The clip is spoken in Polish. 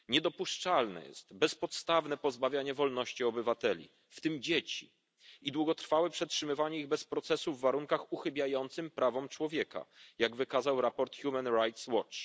Niedopuszczalne jest bezpodstawne pozbawianie wolności obywateli, w tym dzieci, i długotrwałe przetrzymywanie ich bez procesu w warunkach uchybiających prawom człowieka, jak wykazał raport Human Rights Watch.